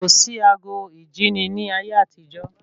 Kò sí àgọ ìjíni ní ayé àtijọ́